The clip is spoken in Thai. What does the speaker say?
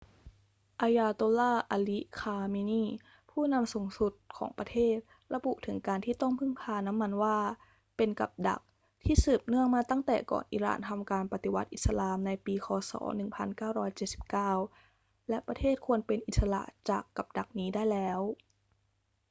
ayatollah ali khamenei ผู้นำสูงสุดของประเทศระบุถึงการที่ต้องพึ่งพาน้ำมันว่าเป็น กับดัก ที่สืบเนื่องมาตั้งแต่ก่อนอิหร่านทำการปฏิวัติอิสลามในปีค ศ. 1979 และประเทศควรเป็นอิสระจากกับดักนี้ได้แล้ว